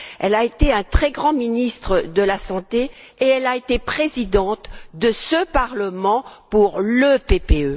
Mme Veil a été un très grand ministre de la santé et elle a été présidente de ce Parlement pour le PPE.